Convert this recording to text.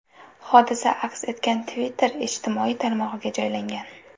Hodisa aks etgan Twitter ijtimoiy tarmog‘iga joylangan .